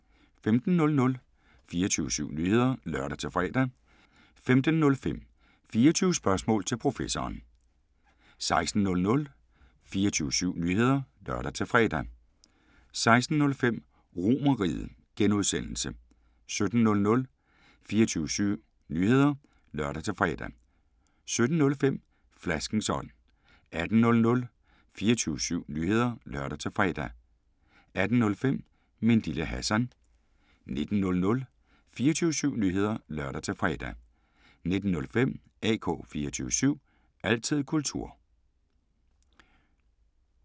15:00: 24syv Nyheder (lør-fre) 15:05: 24 Spørgsmål til Professoren 16:00: 24syv Nyheder (lør-fre) 16:05: RomerRiget (G) 17:00: 24syv Nyheder (lør-fre) 17:05: Flaskens ånd 18:00: 24syv Nyheder (lør-fre) 18:05: Min Lille Hassan 19:00: 24syv Nyheder (lør-fre) 19:05: AK 24syv – altid kultur